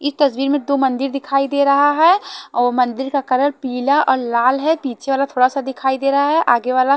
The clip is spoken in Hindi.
इस तस्वीर में दो मंदिर दिखाई दे रहा है और मंदिर का कलर पीला और लाल है पीछे वाला थोड़ा सा दिखाई दे रहा है आगे वाला--